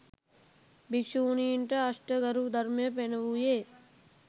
භික්‍ෂුණීන්ට අෂ්ට ගරු ධර්මය පැනවූයේ